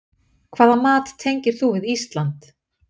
Hvaða mat tengir þú við Ísland?